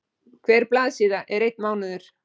Hver blaðsíða er einn mánuður.